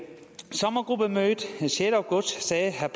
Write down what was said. sommergruppemødet den sjette august sagde herre